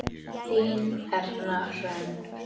Þín Erna Hrönn.